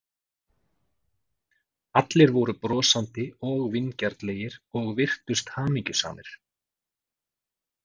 Allir voru brosandi og vingjarnlegir og virtust hamingjusamir.